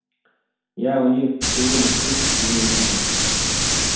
я о них ничего не слышал и не видел